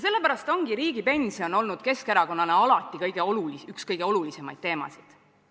Sellepärast ongi riigipension olnud Keskerakonnale alati üks kõige olulisemaid teemasid.